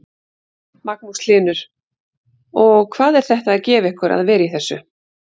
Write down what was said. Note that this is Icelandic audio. Magnús Hlynur: Og hvað er þetta að gefa ykkur að vera í þessu?